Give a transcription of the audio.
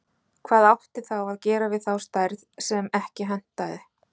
Hvað átti þá að gera við þá stærð sem ekki hentaði?